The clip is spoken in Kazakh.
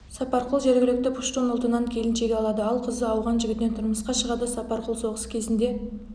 сапарқұл жергілікті пуштун ұлтынан келіншек алады ал қызы ауған жігітіне тұрмысқа шығады сапарқұл соғыс кезінде